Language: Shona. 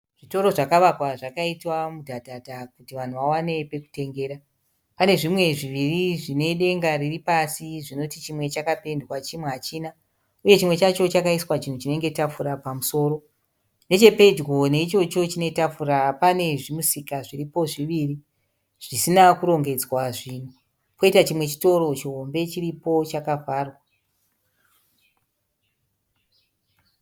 Zvitoro zvakavakwa zvakaitwa mudhadhadha kuti vanhu vawane pekutengera. Pane zvimwe zviri zvine denga riripasi zvinoti chimwe chakapendwa chimwe hachina. Uye chimwe chacho chakaiswa chinhu chinenge tafura pamusoro. Nechepedyo neichocho chinetafura pane zvimusika zviripo zviviri zvisina kurongedzwa zvinhu. Poita chimwe chitoro chihombe chiripo chakavharwa.